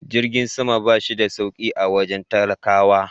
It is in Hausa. Jirgin sama ba shi da sauki a wajen talakawa.